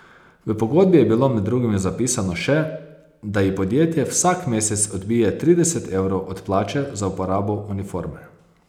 V pogodbi je bilo med drugim zapisano še, da ji podjetje vsak mesec odbije trideset evrov od plače za uporabo uniforme.